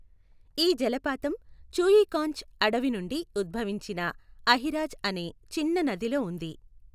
ఈ జలపాతం 'చూయిఖాంచ్' అడవి నుండి ఉద్భవించిన అహిరాజ్ అనే చిన్న నదిలో ఉంది.